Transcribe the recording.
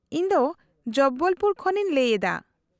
-ᱤᱧ ᱫᱚ ᱡᱚᱵᱵᱚᱞ ᱯᱩᱨ ᱠᱷᱚᱱ ᱤᱧ ᱞᱟᱹᱭ ᱮᱫᱟ ᱾